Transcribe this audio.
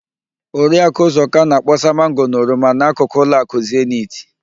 Oriakụ ụzọka na-akpọsa mango na oroma n'akụkụ ụlọakụ Zenit.